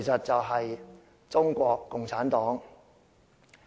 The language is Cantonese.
就是中國共產黨。